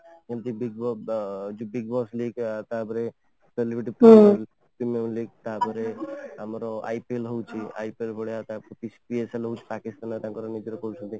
ଯେମିତି Big Boss ଅ ଯେମିତି Big Boss ତାପରେ celebrity ତାପରେ ଆମର IPL ହଉ IPL ଭଳିଆ